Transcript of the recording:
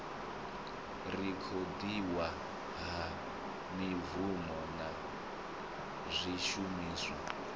rekhodiwa ha mibvumo na zwishumiswa